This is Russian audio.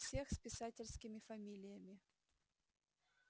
всех с писательскими фамилиями